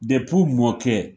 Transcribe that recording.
u mɔkɛ